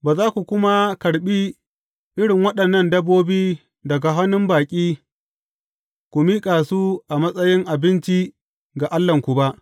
Ba za ku kuma karɓi irin waɗannan dabbobi daga hannun baƙi ku miƙa su a matsayin abinci ga Allahnku ba.